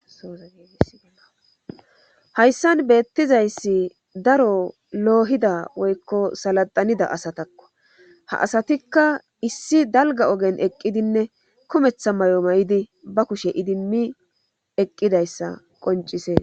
sozaeeshayssan beettizayssi daro loohida woykko saladanida asatakko ha asatikka issi dalga ogen eqqidinne kometha may7o ma7idi ba kushe idimmi eqqidayssa qoncisee